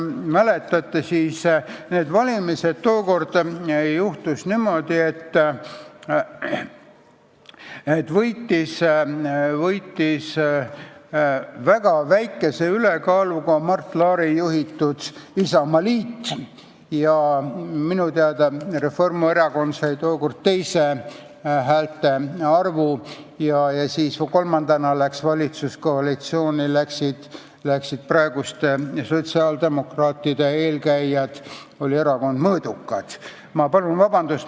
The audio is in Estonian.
Nendel valimistel sai Mart Laari juhitud Isamaaliit Reformierakonnast veidi suurema häälte arvu ja kolmandana läksid valitsuskoalitsiooni praeguste sotsiaaldemokraatide eelkäijad, see oli Erakond Mõõdukad.